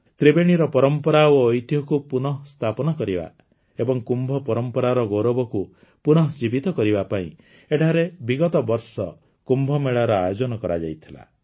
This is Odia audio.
ତ୍ରିବେଣୀର ପରମ୍ପରା ଓ ଐତିହ୍ୟକୁ ପୁନଃସ୍ଥାପନା କରିବା ଓ କୁମ୍ଭ ପରମ୍ପରାର ଗୌରବକୁ ପୁନଃଜୀବିତ କରିବା ପାଇଁ ଏଠାରେ ବିଗତ ବର୍ଷ କୁମ୍ଭମେଳାର ଆୟୋଜନ କରାଯାଇଥିଲା